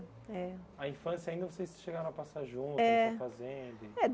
Eh A infância ainda vocês chegaram a passar juntos É na fazenda? É